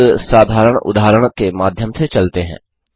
एक साधारण उदाहरण के माध्यम से चलते हैं